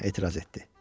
Oğlan etiraz etdi.